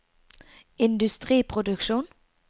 industriproduksjon